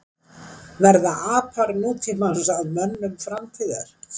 Verða apar nútímans að mönnum framtíðar?